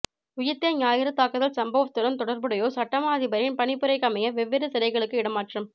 உயிர்த்த ஞாயிறு தாக்குதல் சம்பவத்துடன் தொடர்புடையோர் சட்டமா அதிபரின் பணிப்புரைக்கமைய வெவ்வேறு சிறைகளுக்கு இடமாற்றம்